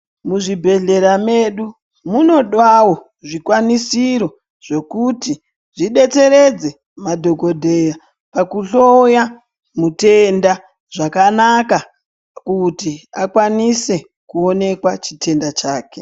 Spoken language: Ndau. Muzvibhedhlera medu munodawo zvikwanisiro zvokuti zvobetsere madhokodheya pakuhloya matenda zvakanaka kuti akwanise kuonekwa chitenda chake.